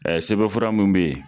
sɛbɛnfura mun bɛ yen.